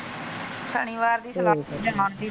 ਸ਼ਨੀਵਾਰ ਦੀ ਜਾਣ ਦੀ।